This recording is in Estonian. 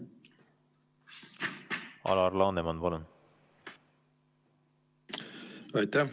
Alar Laneman, palun!